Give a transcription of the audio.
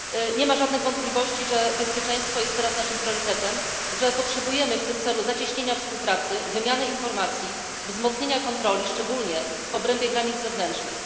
Nie ma żadnych wątpliwości, że bezpieczeństwo jest teraz naszym priorytetem, że potrzebujemy w tym celu zacieśnienia współpracy, wymiany informacji, wzmocnienia kontroli, szczególnie w obrębie granic zewnętrznych.